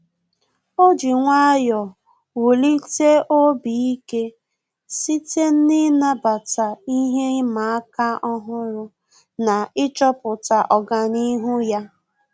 Ọ́ jì nwayọ́ọ̀ wùlíté obi ike site n’ị́nàbàtá ihe ịma aka ọ́hụ́rụ́ na ịchọ̀pụ́tá ọ́gànihu ya.